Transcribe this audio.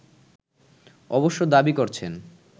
অবশ্য দাবি করছেন